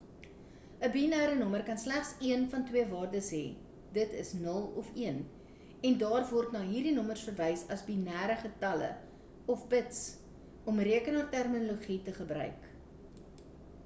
'n binêre nommer kan slegs een van twee waardes hê d.i. 0 of 1 en daar word na hierdie nommers verwys as binêre getalle of bits om rekenaarterminologie te gebruik